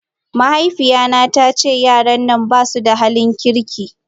Mahaifiyata ta ce yaran nan ba su da halin kirki.